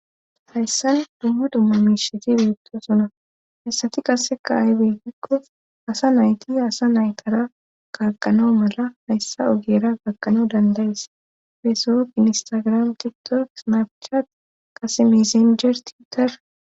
Hayssan dumma dumma mishiti biitto suna hessati qase kaahe beettikko asa nayti asa naytara kaqanoo mala hayssa ogera kaqano dandayis feesu ginistagram titork naafichatt kase misinjer tiitar..